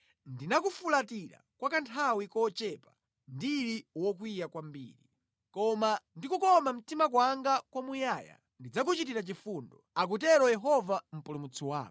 Ndinakufulatira kwa kanthawi kochepa ndili wokwiya kwambiri. Koma ndi kukoma mtima kwanga kwa muyaya, ndidzakuchitira chifundo,” akutero Yehova Mpulumutsi wako.